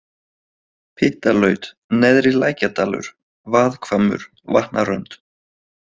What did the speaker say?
Pyttalaut, Neðri-Lækjardalur, Vaðhvammur, Vatnarönd